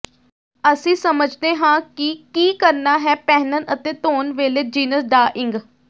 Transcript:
ਅਸੀਂ ਸਮਝਦੇ ਹਾਂ ਕਿ ਕੀ ਕਰਨਾ ਹੈ ਪਹਿਨਣ ਅਤੇ ਧੋਣ ਵੇਲੇ ਜੀਨਸ ਡਾਈਿੰਗ